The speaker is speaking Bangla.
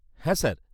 -হ্যাঁ স্যার।